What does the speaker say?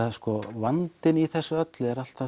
vandinn í þessu öllu er